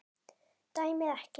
Dæmið ekki.